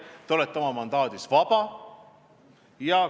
Te olete oma mandaadis vaba.